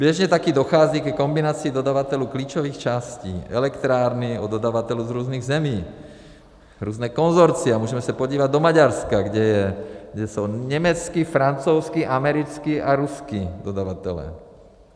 Běžně taky dochází ke kombinaci dodavatelů klíčových částí elektrárny s dodavateli z různých zemí, různá konsorcia - můžeme se podívat do Maďarska, kde jsou německý, francouzský, americký a ruský dodavatelé.